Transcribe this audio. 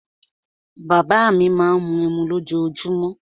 Bàbá à mi má ń mu ẹmu lójoojúmó.